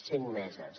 cinc meses